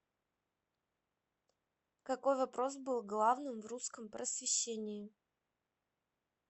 какой вопрос был главным в русском просвещении